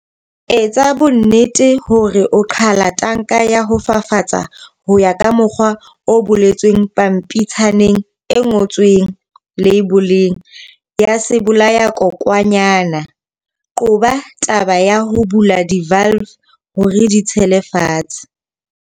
Etsa bonnete hore o qhala tanka ya ho fafatsa ho ya ka mokgwa o boletsweng pampitshaneng e ngotsweng leiboleng ya sebolayakokwanyana. Qoba taba ya ho bula di-valve hore di tshele fatshe.